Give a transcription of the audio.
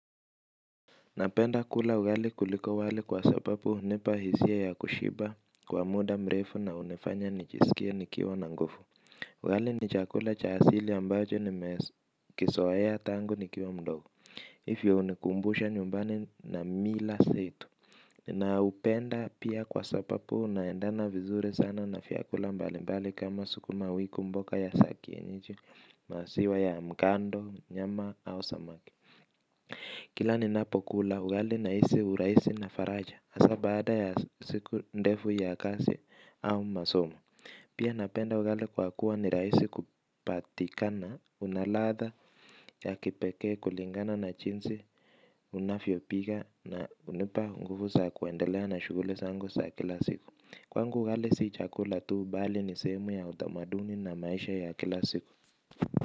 Napenda kula ugali kuliko wali kwa sababu hunipa hisia ya kushiba kwa muda mrefu na hunifanya nijisikie nikiwa na nguvu. Ugali nichakula cha asili ambacho nimekizowea tangu nikiwa mdogo hivyo hunikumbusha nyumbani na mila zetu. Na upenda pia kwa sababu unaendana vizuri sana na vyakula mbalimbali kama sukuma wiku mboga za kienyeji maziwa ya mkando nyama au samaki. Kila ni napokula ugali na hisi urahisi na faraja hasa baada ya siku ndefu ya kazi au masomo. Pia napenda ugali kwa kuwa ni rahisi kupatikana. Unaladha ya kipekee kulingana na jinsi navyopika na hunipa nguvu za kuendelea na shughuli zangu za kila siku. Kwangu ugali si chakula tu bali ni sehemu ya utamaduni na maisha ya kila siku.